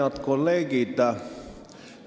Head kolleegid!